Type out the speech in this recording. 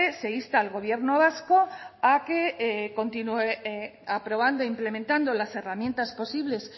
se insta al gobierno vasco a que continúe aprobando implementando las herramientas posibles